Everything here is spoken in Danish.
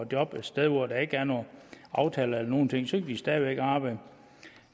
job et sted hvor der ikke er nogen aftaler eller nogen ting så kan de stadig væk arbejde